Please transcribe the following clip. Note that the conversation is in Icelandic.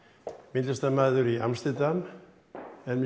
myndlistarmaður í Amsterdam er með